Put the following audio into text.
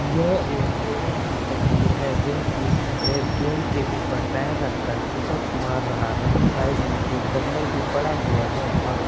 यह एक ट्रेनर की तस्वीर है जोकि एक गेंद के ऊपर पैर रखकर पुशअप मार रहा है साइड में एक डंबल भी पड़ा हुआ है और --